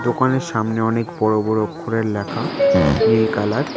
দোকানের সামনে অনেক বড় বড় অক্ষরের লেখা নীল কালার ।